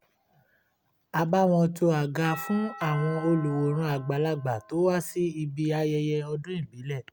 a bá wọn to àga fún àwọn olùwòran àgbàlagbà to wá sí ibi ayẹyẹ ọdún ìbílẹ̀